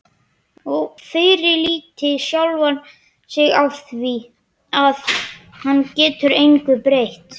Og fyrirlíti sjálfan sig afþvíað hann getur engu breytt.